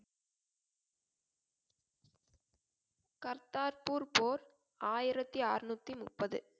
கர்தார்பூர் போர் ஆயிரத்தி அறுநூத்தி முப்பது